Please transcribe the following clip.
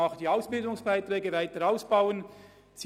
Auch die Ausbildungsbeiträge haben Sie weiter ausbauen wollen.